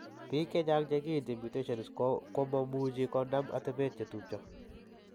Biik chechang' che kiinti mutations chu komo muchi konom atepet che tupcho.